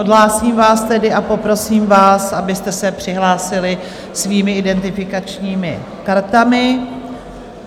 Odhlásím vás tedy a poprosím vás, abyste se přihlásili svými identifikačními kartami.